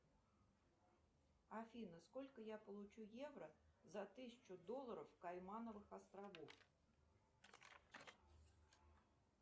афина сколько я получу евро за тысячу долларов каймановых островов